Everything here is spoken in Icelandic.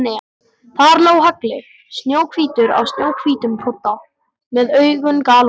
Þar lá Halli, snjóhvítur á snjóhvítum kodda, með augun galopin.